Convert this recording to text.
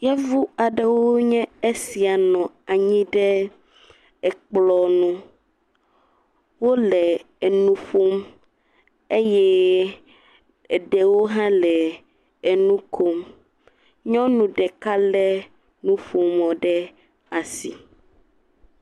Yevu aɖewoe esia nɔ anyi ɖe kplɔnu wole enuƒom eye ɖewo ha le enukom nyɔnu ɖeka le nuƒomɔ ɖe asi